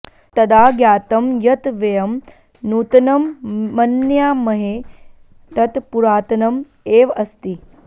तदा ज्ञातं यत् वयं नूतनं मन्यामहे तत् पुरातनम् एव अस्ति